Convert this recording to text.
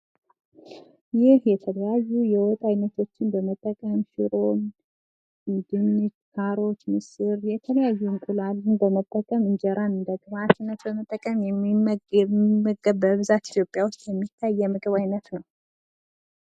ይህ የተለያዩ የወጥ አይነቶቶችን በመጠቀም ሽሮ፣ ድንች፣ ካሮት ፣ምስር የተለያዩ እንቁላልን በመጠቀም እንጀራ በግብአትነት በመጠቀም የሚመገብ በብዛት ኢትዮጵያ ውስጥ የሚታይ የምግብ አይነት ነው።